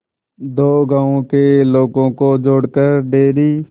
दो गांवों के लोगों को जोड़कर डेयरी